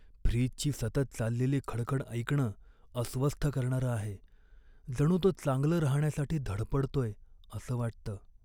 फ्रीजची सतत चाललेली खडखड ऐकणं अस्वस्थ करणारं आहे, जणू तो चांगलं राहण्यासाठी धडपडतोय असं वाटतं.